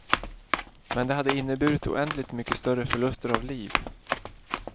Men det hade inneburit oändligt mycket större förluster av liv.